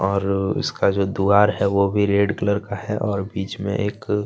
और उसका जो द्वार है वो भी रेड कलर का है और बीच में एक --